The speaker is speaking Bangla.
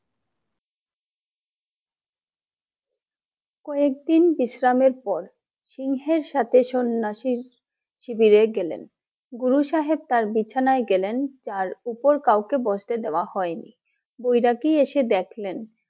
কয়েকদিন বিশ্রামের পর সিংহের সাথে সন্ন্যাসীর শিবিরে গেলেন গুরু সাহেব তার বিছানায় গেলেন তার উপর কাউকে বসতে দেওয়া হয়নি বৈরাগী এসে দেখলেন